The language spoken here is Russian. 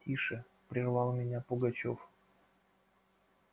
тише прервал меня пугачёв